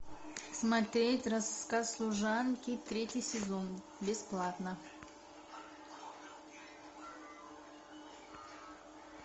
смотреть рассказ служанки третий сезон бесплатно